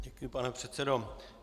Děkuji, pane předsedo.